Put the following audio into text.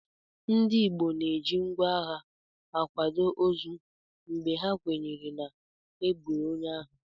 Ndị Igbo na-eji ngwá agha akwado ozu mgbe ha kwenyere na e gburu onye ahụ